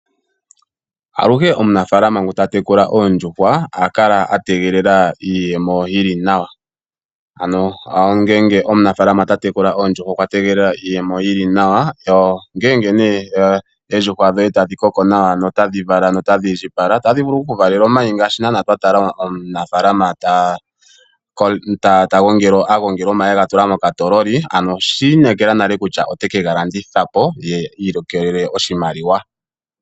Aluhe omunafaalama ngu ta tekula oondjuhwa oha kala a tegelela iiyemo yi li nawa. Ngele omunafaalama ta tekula oondjuhwa okwa tegelela iiyemo yi li nawa, ongele nduno oondjuhwa dhoye tadhi koko nawa notadhi vala nawa notadhi indjipala otadhi vulu oku ku valela omayi ogendji. Omunafaalama oha gongele omayi mokatoololi nokuga landitha po, opo i ilikolele oshimaliwa.